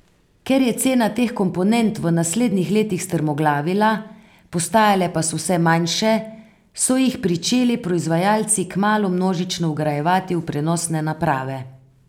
Ker je cena teh komponent v naslednjih letih strmoglavila, postajale pa so vse manjše, so jih pričeli proizvajalci kmalu množično vgrajevati v prenosne naprave.